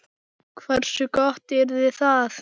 Hversu gott yrði það?